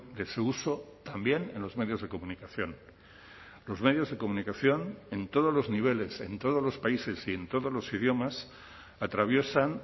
de su uso también en los medios de comunicación los medios de comunicación en todos los niveles en todos los países y en todos los idiomas atraviesan